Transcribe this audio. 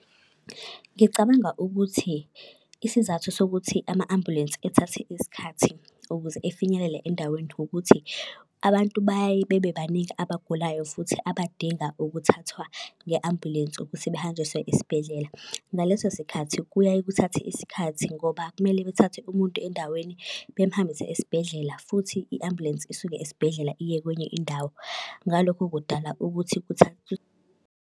Ngicabanga ukuthi isizathu sokuthi ama-ambulensi ethathe isikhathi ukuze efinyelele endaweni ukuthi abantu bayaye bebebaningi abagulayo futhi abadinga ukuthathwa nge-ambulensi ukuthi behanjiswe esibhedlela. Ngaleso sikhathi kuyaye kuthathe isikhathi ngoba kumele bethathe umuntu endaweni bemuhambise esibhedlela futhi i-ambulensi isuke esibhedlela iye kwenye indawo. Ngalokho kudala ukuthi